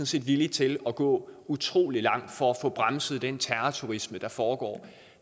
set villige til at gå utrolig langt for at få bremset den terrorturisme der foregår